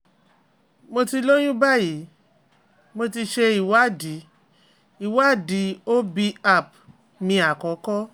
mo ti lóyún báyìí, mo ti ṣe ìwádìí ìwádìí O B appt mi àkọ́kọ́